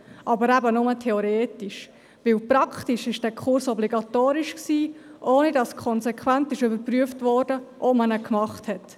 Aber eben nur theoretisch, denn praktisch war dieser Kurs obligatorisch, ohne dass konsequent überprüft wurde, ob man ihn besucht hat.